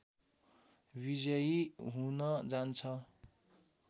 विजयी हुन जान्छ